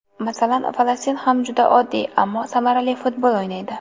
Masalan, Falastin ham juda oddiy, ammo samarali futbol o‘ynaydi.